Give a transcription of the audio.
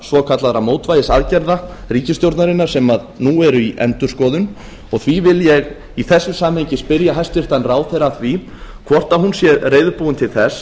svokallaðra mótvægisaðgerða ríkisstjórnarinnar sem nú eru í endurskoðun og því vil ég í þessu samhengi spyrja hæstvirtan ráðherra að því hvort hún sé reiðubúin til þess